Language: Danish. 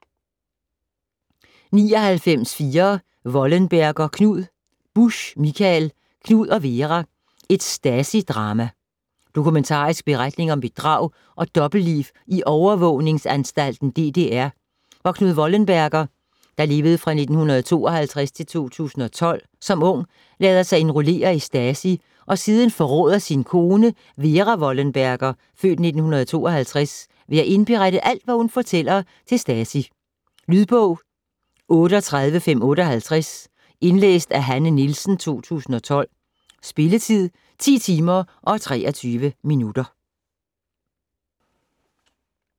99.4 Wollenberger, Knud Busch, Mikael: Knud og Vera: et Stasi-drama Dokumentarisk beretning om bedrag og dobbeltliv i overvågningsanstalten DDR, hvor Knud Wollenberger (1952-2012) som ung lader sig indrullere i Stasi og siden forråder sin kone Vera Wollenberger (f. 1952) ved at indberette alt hvad hun fortæller til Stasi. Lydbog 38558 Indlæst af Hanne Nielsen, 2012. Spilletid: 10 timer, 23 minutter.